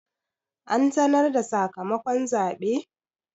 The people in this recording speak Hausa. An sanar da sakamakon zaɓe?